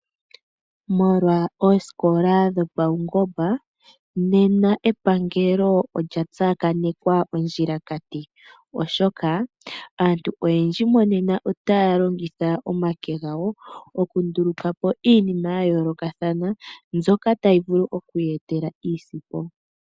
Molwa oosikola dhopaungomba nena epangelo olya tsakanekwa ondjilakati, oshoka aantu oyendji monena otaya longitha omake gawo oku nduluka po iinima ya yoolokathana mbyoka tayi vulu oku ya etela iisimpo.